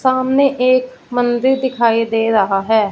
सामने एक एक मंदिर दिखाई दे रहा हैं।